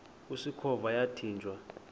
usikhova yathinjw a